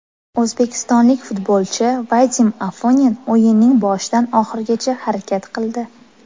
O‘zbekistonlik futbolchi Vadim Afonin o‘yinning boshidan oxirigacha harakat qildi.